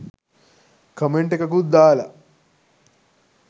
comment එකකුත් දාලා